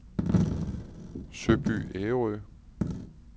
Søby Ærø